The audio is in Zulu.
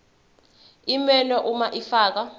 iminwe uma ufika